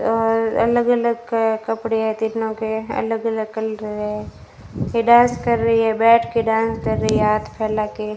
और अलग-अलग कपड़े हैं तीनों के अलग-अलग कलरे है वे डांस कर रही है बैठ के डांस कर रही है हाथ फैला के।